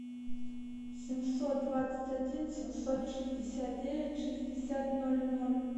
семьсот двадцать один семьсот шестьдесят девять шестьдесят ноль ноль